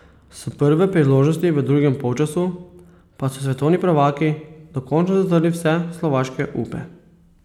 S prve priložnosti v drugem polčasu pa so svetovni prvaki dokončno zatrli vse slovaške upe.